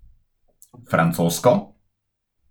Francosko?